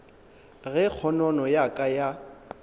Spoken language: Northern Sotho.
ge kgonono ya ka ya